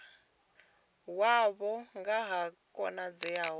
wavho nga ha khonadzeo ya